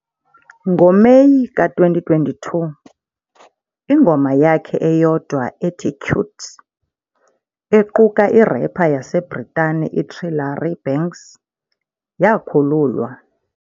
NgoMeyi ka-2022, ingoma yakhe eyodwa ethi "Cute", equka i-rapper yaseBritane i-Trillary Banks, yakhululwas.